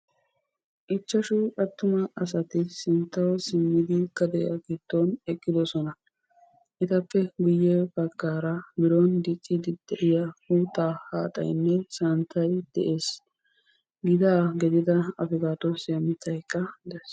Ichchashu attuma asati sinttawu simmidi gade giddon eqqidosona. Etappe guyye baggaara biron diciiddi de"iyaa uuttaa haaxaynne santtay de'ees. Gitaa gidida afkaadoosiya mittaykka de'ees.